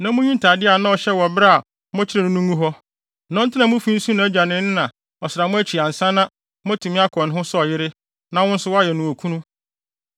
na munyi ntade a na ɔhyɛ wɔ bere a mokyeree no no ngu hɔ. Na ɔntena mo fi nsu nʼagya ne ne na ɔsram akyi ansa na, moatumi akɔ ne ho sɛ ɔyere na wo nso woayɛ no okunu.